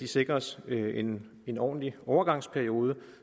sikres en en ordentlig overgangsperiode